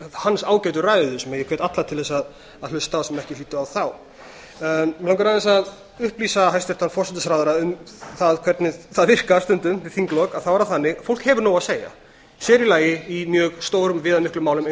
hans ágætu ræðu sem ég hvet alla til þess að hlusta á sem ekki hlýddu á þá mig langar aðeins að upplýsa hæstvirtan forsætisráðherra um það hvernig það virkar stundum við þinglok þá er það þannig að fólk hefur nóg að segja sér í lagi í mjög stórum og viðamiklum málum eins